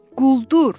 Quldur!